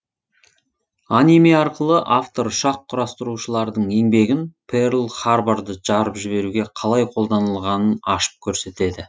аниме арқылы автор ұшақ құрастырушылардың еңбегін перл харборды жарып жіберуге қалай қолданылғанын ашып көрсетеді